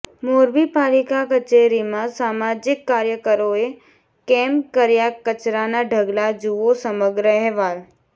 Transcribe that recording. મોરબી પાલિકા કચેરીમાં સામાજિક કાર્યકરોએ કેમ કર્યા કચરાના ઢગલા જુઓ સમગ્ર અહેવાલ